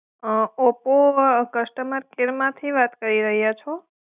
અં Oppo customer care માથી વાત કરી રહ્યા છો?